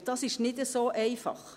Und das ist nicht so einfach.